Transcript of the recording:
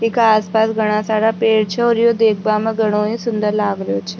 इक आस पास घणा सारा पेड़ छ और यो देख बा मा घनों ही सुन्दर लाग रो छ।